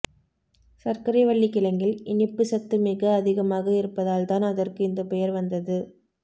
சர்க்கரைவள்ளிக் கிழங்கில் இனிப்புச் சத்து மிக அதிகமாக இருப்பதால் தான் அதற்கு இந்த பெயர் வந்தது